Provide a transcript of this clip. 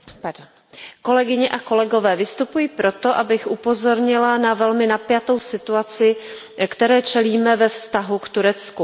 Paní předsedající, kolegyně a kolegové, vystupuji proto, abych upozornila na velmi napjatou situaci, které čelíme ve vztahu k Turecku.